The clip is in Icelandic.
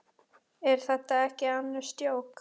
Er þetta ekki annars djók?